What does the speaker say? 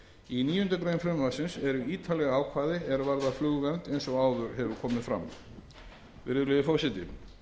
í níundu grein frumvarpsins eru ítarleg ákvæði er varða flugvernd eins og áður hefur komið fram virðulegi forseti